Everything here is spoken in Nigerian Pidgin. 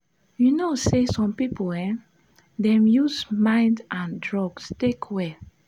you know say some people um dey use mind and drugs take well.